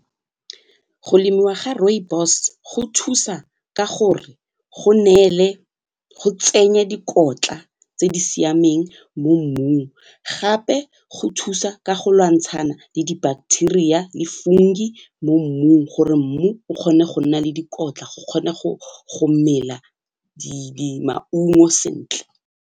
Go lemiwa ga rooibos go thusa ka gore go neele go tsenye dikotla tse di siameng mo mmung gape go thusa ka go lwantshana le di-bacteria le fungi mo mmung gore mmu o kgone go nna le dikotla go kgone go kgone go mela maungo sentle.